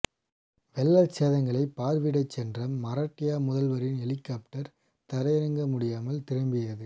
வெள்ளச் சேதங்களை பார்வையிடச் சென்ற மராட்டிய முதல்வரின் ஹெலிகாப்டர் தரையிறங்க முடியாமல் திரும்பியது